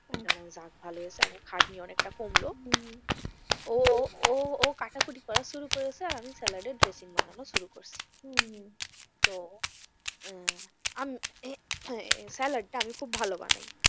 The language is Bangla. আহ আমি বললাম যাক ভালো হয়েছে আমার খাটনি অনেকটা কমলো হম হম ও, ও, ও কাটা কুটি করা শুরু করেছে আর আমি স্যালাডের dressing বানানো শুরু করেছি হম হম তো আহ স্যালাডটা আমি খুব ভালো বানায়,